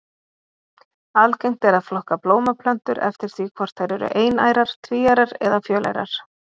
Algengt er að flokka blómplöntur eftir því hvort þær eru einærar, tvíærar eða fjölærar.